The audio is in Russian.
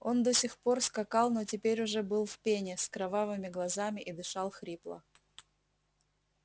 он до сих пор скакал но теперь уже был в пене с кровавыми глазами и дышал хрипло